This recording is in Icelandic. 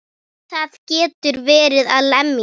Það getur verið að lemja.